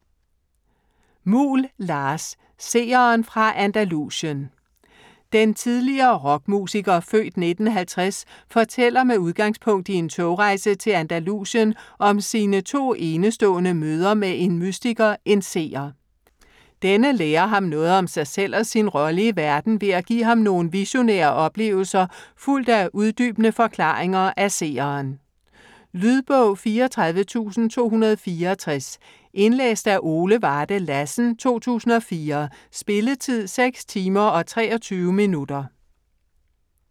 Muhl, Lars: Seeren fra Andalusien Den tidligere rockmusiker (f. 1950) fortæller, med udgangspunkt i en togrejse til Andalusien, om sine to enestående møder med en mystiker, en seer. Denne lærer ham noget om sig selv og sin rolle i verden ved at give ham nogle visionære oplevelser fulgt af uddybende forklaringer af seeren. Lydbog 34264 Indlæst af Ole Varde Lassen, 2004. Spilletid: 6 timer, 23 minutter.